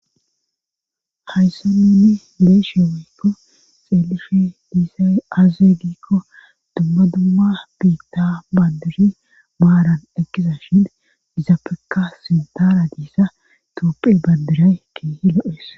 hayssan nunni beeyishen weykko xeelife diisay aaze giikko dumma dumma biitta bandiri maaran ekisa shin gizapeka sintara diissa toopphe bandiray kihi lo7es